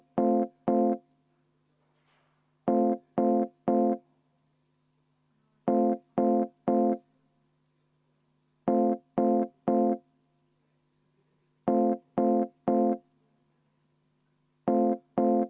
Loodame, et Martin Repinski ühendus taastub selleks ajaga.